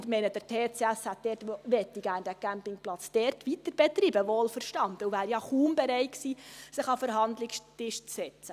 Ich meine, der TCS möchte den Campingplatz dort gerne weiterbetreiben, wohlverstanden, und er wäre ja kaum bereit gewesen, sich an den Verhandlungstisch zu setzen.